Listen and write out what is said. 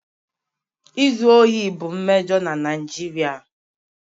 Izu ohi bụ mmejọ na Naijiria.